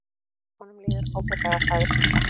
Honum líður ágætlega sagði stúlkan.